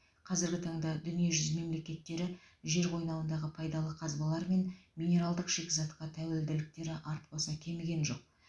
қазіргі таңда дүниежүзі мемлекеттері жер қойнауындағы пайдалы қазбалар мен минералдық шикізатқа тәуелділіктері артпаса кеміген жоқ